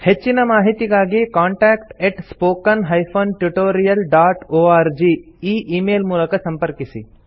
ಹೆಚ್ಚಿನ ಮಾಹಿತಿಗಾಗಿ contact spoken tutorialorg ಈ ಈ ಮೇಲ್ ಮೂಲಕ ಸಂಪರ್ಕಿಸಿ